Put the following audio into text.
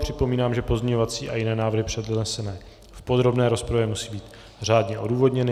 Připomínám, že pozměňovací a jiné návrhy přednesené v podrobné rozpravě musí být řádně odůvodněny.